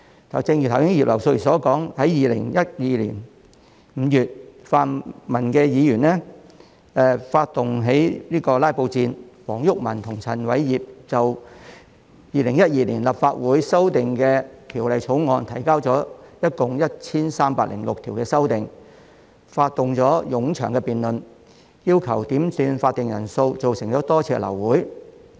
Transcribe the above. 正如葉劉淑儀議員剛才提到2012年5月，泛民議員發動了"拉布"戰，黃毓民及陳偉業就《2012年立法會條例草案》提交了共 1,306 項修正案，發動了冗長的辯論，要求點算法定人數造成了多次流會。